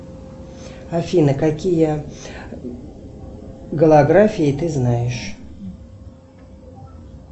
афина какие голографии ты знаешь